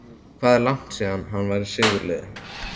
Hvað er langt síðan að hann var í sigurliði?